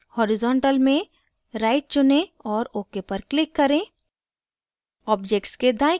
horizontal में right चुनें और ok पर click करें